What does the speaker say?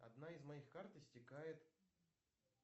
одна из моих карт истекает